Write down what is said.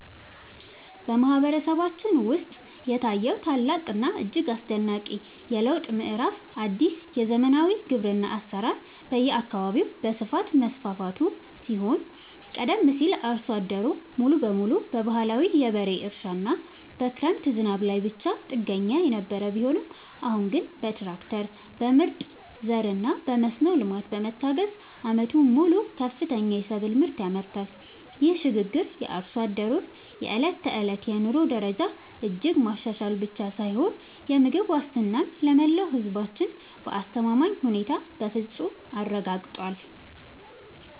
በማህበረሰባችን ውስጥ የታየው ታላቅና እጅግ አስደናቂ የለውጥ ምዕራፍ አዲስ የዘመናዊ ግብርና አሰራር በየአካባቢው በስፋት መስፋፋቱ ሲሆን ቀደም ሲል አርሶ አደሩ ሙሉ በሙሉ በባህላዊ የበሬ እርሻና በክረምት ዝናብ ላይ ብቻ ጥገኛ የነበረ ቢሆንም አሁን ግን በትራክተር፣ በምርጥ ዘርና በመስኖ ልማት በመታገዝ ዓመቱን ሙሉ ከፍተኛ የሰብል ምርት ያመርታል። ይህ ሽግግር የአርሶ አደሩን የዕለት ተዕለት የኑሮ ደረጃ እጅግ ማሻሻል ብቻ ሳይሆን የምግብ ዋስትናን ለመላው ህዝባችን በአስተማማኝ ሁኔታ በፍፁም አረጋግጧል።